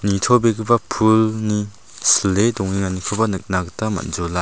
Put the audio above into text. nitobegipa pulni slile dongenganikoba nikna gita man·jola.